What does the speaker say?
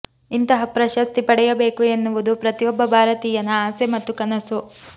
ಇಂತಹ ಪ್ರಶಸ್ತಿ ಪಡೆಯಬೇಕು ಎನ್ನುವುದು ಪ್ರತಿಯೊಬ್ಬ ಭಾರತೀಯನ ಆಸೆ ಮತ್ತು ಕನಸು